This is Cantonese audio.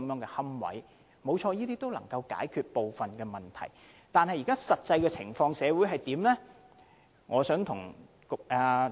誠然，這些措施有助解決部分問題，但社會上的實際情況又如何？